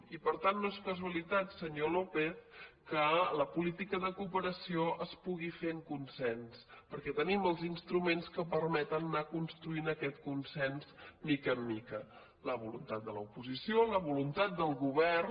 i per tant no és casualitat senyor lópez que la política de cooperació es pugui fer amb consens perquè tenim els instruments que permeten anar construint aquest con sens de mica en mica la voluntat de l’oposició la voluntat del govern